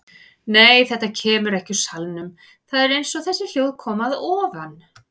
Nei, þetta kemur ekki úr salnum, það er eins og þessi hljóð komi að ofan.